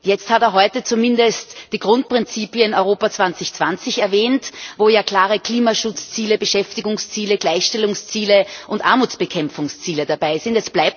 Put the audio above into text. Jetzt hat er heute zumindest die Grundprinzipien von Europa 2020 erwähnt, wo ja klare Klimaschutzziele, Beschäftigungsziele, Gleichstellungsziele und Armutsbekämpfungsziele dabei sind.